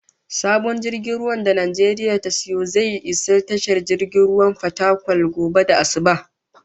Sabon jirgin ruwan da Najeriya ta sayo zai iso tashar jirgin ruwan Fatakwal gobe da asubah